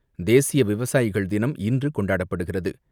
தேசிய விவசாயிகள் தினம் இன்று கொண்டாடப்படுகிறது.